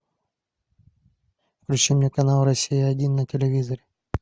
включи мне канал россия один на телевизоре